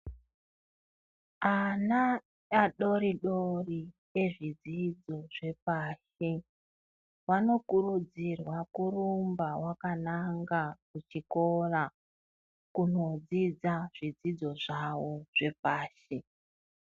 Ana adori-dori ezvidzidzo zvepashi vanokurudzirwa kurumba vakananga kuchikora, kunodzidza zvidzidzo zvavo zvepashi.